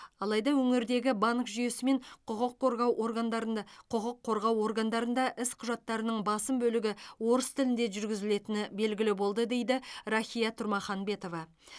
алайда өңірдегі банк жүйесі мен құқық қорғау органдарында құқық қорғау органдарында іс құжаттарының басым бөлігі орыс тілінде жүргізілетіні белгілі болды дейді рахия тұрмаханбетова